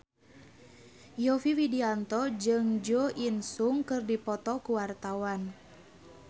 Yovie Widianto jeung Jo In Sung keur dipoto ku wartawan